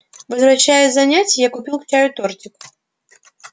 возвращаясь с занятий я купил к чаю тортик